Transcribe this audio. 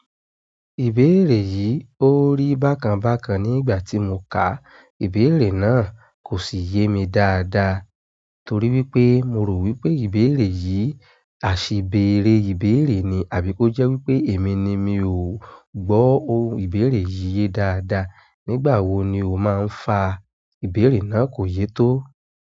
Ìbéèrè yìí ó rí bákan bákan nígbà tí mo kà ìbéèrè náà kò sì yé mi dáadáa torí wípé mo rò wípé ìbéèrè yìí àṣìbéèrè ìbéèrè ni àbí kó jẹ́ wípé èmi ni mi ò gbọ́ ohun ìbéèrè yìí dáadáa. Nígbà wo ni ó máa ń fa ìbéèrè náà kò yé tó?